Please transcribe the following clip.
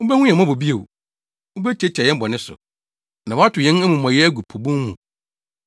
Wubehu yɛn mmɔbɔ bio, wubetiatia yɛn bɔne so, na woatow yɛn amumɔyɛ agu po bun mu.